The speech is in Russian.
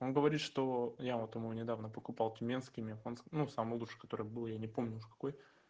он говорит что я вот ему недавно покупал тюменский мегафон ну самую душу который был я не помню какой